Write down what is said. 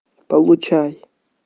получай